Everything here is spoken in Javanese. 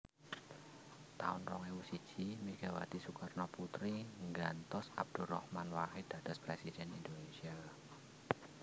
taun rong ewu siji Megawati Soekarnoputri nggantos Abdurrahman Wahid dados Presiden Indonesia